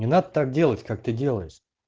не надо так делать как ты делаешь